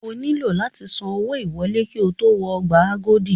O nílò láti san owó ìwọlé ki o tó wọ ọgbà Agodi.